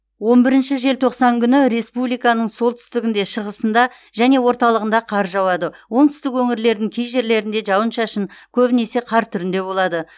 он бірінші желтоқсан күні республиканың солтүстігінде шығысында және орталығында қар жауады оңтүстік өңірлердің кей жерлерінде жауын шашын көбінесе қар түрінде болады